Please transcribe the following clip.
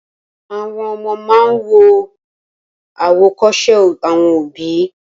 Àwọn ọmọ máa ń wo àwòkọ́ṣe àwọn òbí